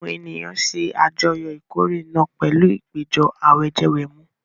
Àwọn ènìyàn ṣe àjọyọ̀ ìkórè náà pẹ̀lú ìpéjọ àwẹ̀jẹwẹ̀mu.